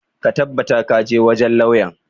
Ka tabbata ka je wajen lauyan!